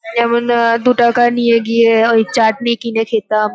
যেমন আ-দু টাকা নিয়ে গিয়ে ওই চাটনি কিনে খেতাম।